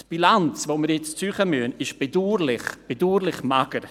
Die Bilanz, die wir jetzt ziehen müssen, ist bedauerlich mager: